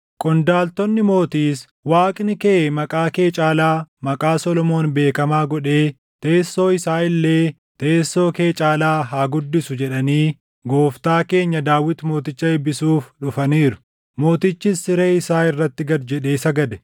Qondaaltonni mootiis, ‘Waaqni kee maqaa kee caalaa maqaa Solomoon beekamaa godhee teessoo isaa illee teessoo kee caalaa haa guddisu!’ jedhanii gooftaa keenya Daawit mooticha eebbisuuf dhufaniiru. Mootichis siree isaa irratti gad jedhee sagade;